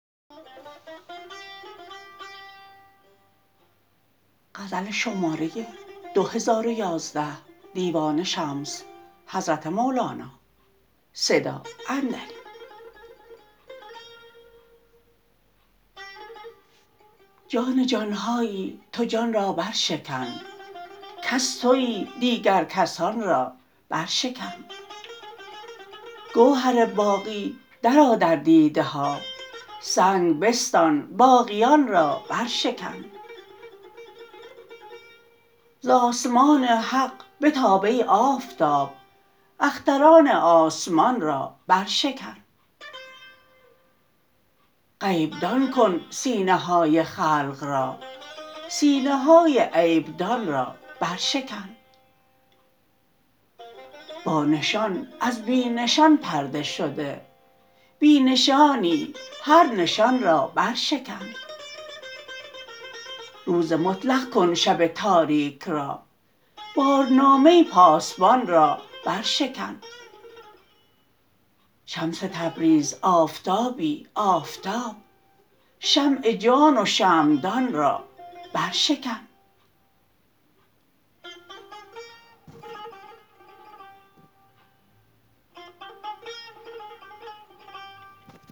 جان جان هایی تو جان را برشکن کس توی دیگر کسان را برشکن گوهر باقی درآ در دیده ها سنگ بستان باقیان را برشکن ز آسمان حق بتاب ای آفتاب اختران آسمان را برشکن غیب دان کن سینه های خلق را سینه های عیب دان را برشکن بانشان از بی نشان پرده شده بی نشانی هر نشان را برشکن روز مطلق کن شب تاریک را بارنامه پاسبان را برشکن شمس تبریز آفتابی آفتاب شمع جان و شمعدان را برشکن